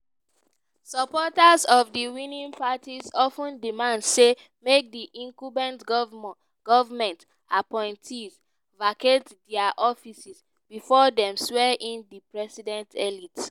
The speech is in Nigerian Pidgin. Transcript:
supporters of di winning party of ten demand say make di incumbent goment appointees vacate dia offices bifor dem swear in di president-elect.